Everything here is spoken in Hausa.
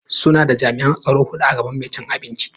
Suna da jami'an tsaro hudu a gaban mai cin abinci.